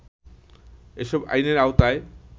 এসব আইনের আওতায়